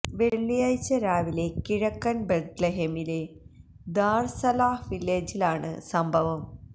വെള്ളിയാഴ്ച രാവിലെ കിഴക്കന് ബെത്ലഹേമിലെ ദാര് സലാഹ് വില്ലേജിലാണ് സംഭവം